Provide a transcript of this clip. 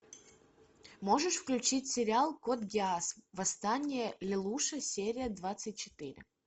можешь включить сериал код гиас восстание лелуша серия двадцать четыре